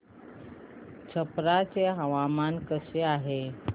छप्रा चे हवामान कसे आहे